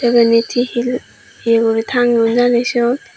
iyenit hihi yeguri tangeyon jani siyot?